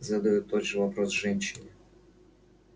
задают тот же вопрос женщине